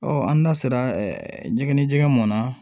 an da sera jɛgɛ ni jɛgɛ mɔn na